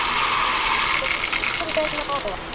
Komu þær ykkur verulega á óvart?